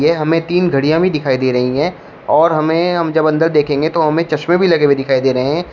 यहां में तीन घड़ियां भी दिखाई दे रही है और हमें हम जब अंदर देखेंगे तो हमें चश्मे भी लगे हुए दिखाई दे रहे हैं।